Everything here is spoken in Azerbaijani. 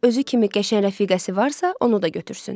Özü kimi qəşəng rəfiqəsi varsa, onu da götürsün.